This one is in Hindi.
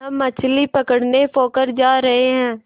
हम मछली पकड़ने पोखर जा रहें हैं